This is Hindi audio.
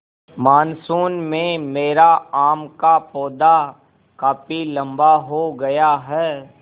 मानसून में मेरा आम का पौधा काफी लम्बा हो गया है